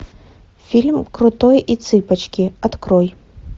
фильм крутой и цыпочки открой